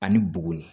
Ani bugu ni